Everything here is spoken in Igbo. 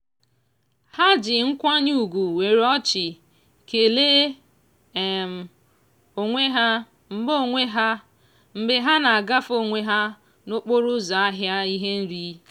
ha ji nkwanye ugwu were ọchị kelee um onwe ha mgbe onwe ha mgbe ha na-agafe onwe ha n'okporo ụzọ ahịa ihe nri.